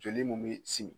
Joli mun be simi